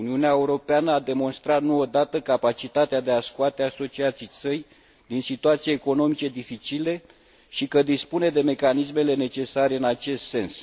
Uniunea Europeană a demonstrat, nu o dată, capacitatea de a și scoate asociații săi din situații economice dificile și că dispune de mecanismele necesare în acest sens.